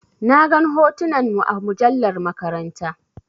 Na gan hotunan mu a mujallar maƙaranta.